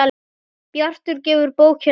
Bjartur gefur bókina út.